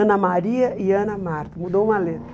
Ana Maria e Ana Marta, mudou uma letra.